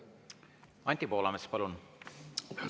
Anti Poolamets, palun!